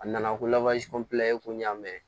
A nana ko ko n y'a mɛn